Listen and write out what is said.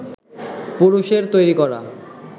পুরুষের তৈরি করা